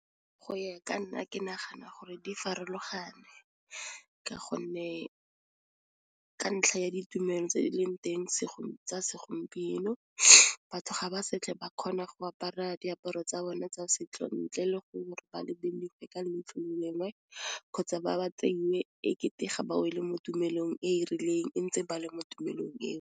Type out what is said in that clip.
Go ya ka nna ke nagana gore di farologane ka ntlha ya ditumelo tse di leng teng segolo tsa segompieno batho ga ba setlhe ba kgona go apara diaparo tsa bone tsa setso ntle le gore ba ka leitlho le lengwe kgotsa, ba ba tseiwe e kete ga ba wele mo tumelong e e rileng e ntse ba le mo tumelong eo.